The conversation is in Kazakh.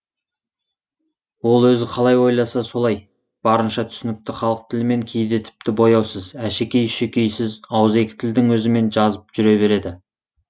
ол өзі қалай ойласа солай барынша түсінікті халық тілімен кейде тіпті бояусыз әшекей үшекейсіз ауызекі тілдің өзімен жазып жүре береді